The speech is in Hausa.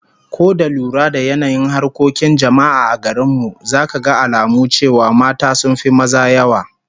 Ko da lura da yanayin harkokin jama'a a garin mu, zaka ga alamu cewa mata sun fi maza yawa.